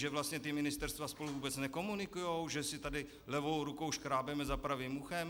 Že vlastně ta ministerstva spolu vůbec nekomunikují, že si tady levou rukou škrábeme za pravým uchem.